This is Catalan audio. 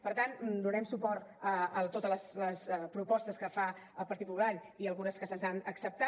per tant donarem suport a totes les propostes que fa el partit popular i a algunes que se’ns han acceptat